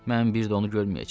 Mən bir də onu görməyəcəm.